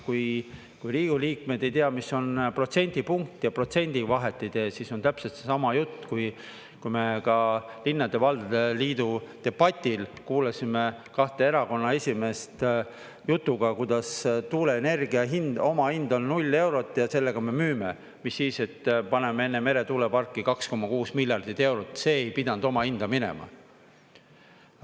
Kui Riigikogu liikmed ei tea, mis on protsendipunkt, ja protsendil vahet ei tee, siis on täpselt seesama jutt, kui me ka linnade ja valdade liidu debatil kuulasime kahte erakonna esimeest jutuga, kuidas tuuleenergia hind, omahind on null eurot ja sellega me müüme – mis siis, et paneme enne meretuuleparki 2,6 miljardit eurot, see ei pidanud omahinda minema.